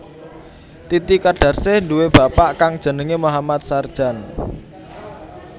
Titi kadarsih nduwé bapak kang jenengé Mohammad Sardjan